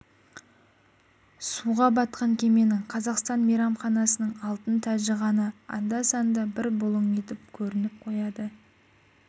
суға батқан кеменің қазақстан мейранханасының алтын тәжі ғана анда-санда бір бұлың етіп көрініп қояды